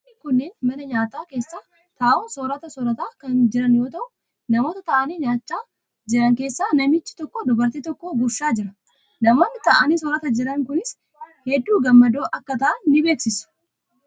Namoonni kunneen mana nyaataa keessa taa'uun soorata soorataa kan jiran yoo ta'u namoota taa'anii nyaachaa jiran keessaa namichi tokko dubartii tokko gurshaa jira. Namoonni taa'anii soorataa jiran kunis hedduu gammadoo akka ta'an ni beeksisu.